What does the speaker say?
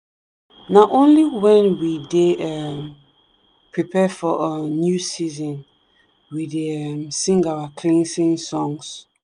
na only when we dey um prepare for um new season we dey um sing our cleansing songs.